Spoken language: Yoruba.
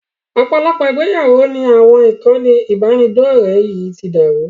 Ọ̀pọ̀lọpọ̀ ìgbéyàwó ni àwọn ìkànnì ìbánidọ̀rẹ́ yìí ti dàrú